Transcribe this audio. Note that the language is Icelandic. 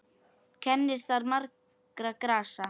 Kennir þar margra grasa.